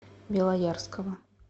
белоярского